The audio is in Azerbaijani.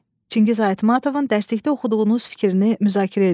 Çingiz Aytmatovun dərsdə oxuduğunuz fikrini müzakirə edin.